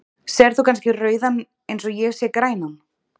sérð þú kannski rauðan eins og ég sé grænan